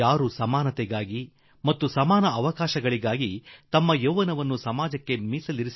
ಆದರೆ ಸಮಾನತೆಗಾಗಿ ಸಮಾನ ಅವಕಾಶಕ್ಕಾಗಿ ತಮ್ಮ 0iÀiËವ್ವನವನ್ನು ಸಮಾಜಕ್ಕೆ ತ್ಯಾಗ ಮಾಡಿದ ಆ